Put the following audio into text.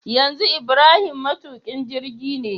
yanzu ibrahim matukin jirgine